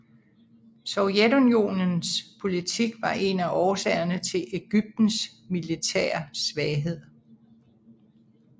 Sovjetunionens politik var en af årsagerne til Egyptens militære svaghed